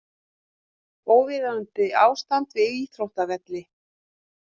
Óviðunandi ástand við íþróttavelli